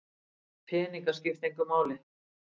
Peningar skipta engu máli